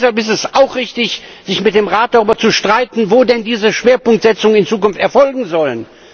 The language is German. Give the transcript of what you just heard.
Deshalb ist es auch richtig, sich mit dem Rat darüber zu streiten, wo denn diese Schwerpunktsetzungen in Zukunft erfolgen sollen.